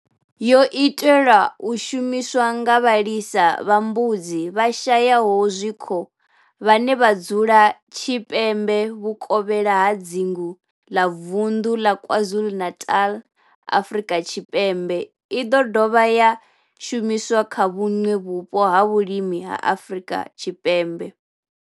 Yo itelwa u shumiswa nga vhalisa vha mbudzi vhashayaho zwikHo vhane vha dzula tshipembe vhukovhela ha dzingu la vunḓu la KwaZulu-Natal, Afrika Tshipembe i ḓo dovha ya shumiswa kha vhuṋwe vhupo ha vhulimi ha Afrika Tshipembe.